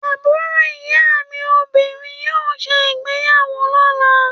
Àbúrò ìyáàmi obìnrin yóò ṣe ìgbeyàwó lọ́la.